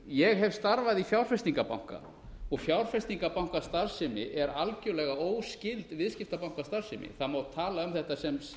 ég hef starfað í fjárfestingarbanka og fjárfestingarbankastarfsemi er algjörlega óskyld viðskiptabankastarfsemi það má tala um þetta sem